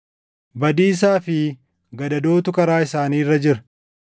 badiisaa fi gadadootu karaa isaanii irra jira;